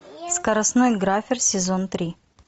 скоростной графер сезон три